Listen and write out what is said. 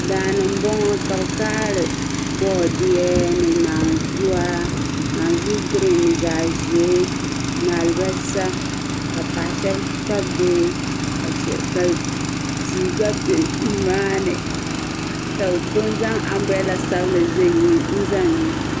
Daani n boŋɔ ka bi kaɣiri boodiye naanzua naanzu "green" ni zaɣ'ʒee ni alibalisa ka paɣa shab Kpabi bihi ka tii gba be nimaani ka bi pun zaŋ "Umbrella" sabinli n za ni.